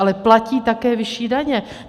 Ale platí také vyšší daně.